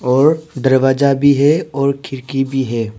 और दरवाजा भी है और खिड़की भी है।